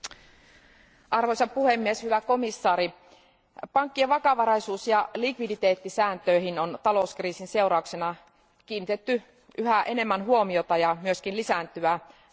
Arvoisa puhemies, hyvä komission jäsen, pankkien vakavaraisuus ja likviditeettisääntöihin on talouskriisin seurauksena kiinnitetty yhä enemmän huomiota ja myös sääntely on lisääntynyt.